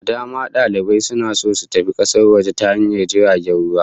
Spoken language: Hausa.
Da dama dalibai suna so su tafi kasar waje ta hanyar jirgin ruwa